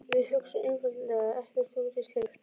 Við hugsuðum einfaldlega ekkert út í slíkt.